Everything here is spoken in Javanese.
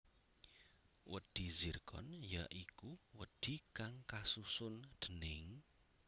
Wedhi Zirkon ya iku wedhi kang kasusun déning